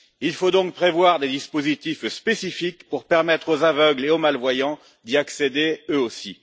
Il faut donc prévoir des dispositifs spécifiques pour permettre aux aveugles et aux malvoyants d'y accéder eux aussi.